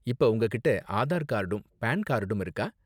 இப்ப உங்ககிட்டே ஆதார் கார்டும் பான் கார்டும் இருக்கா?